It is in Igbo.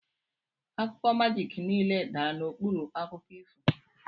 Akụkọ majiki niile dara n'okpuru akụkọ ifo.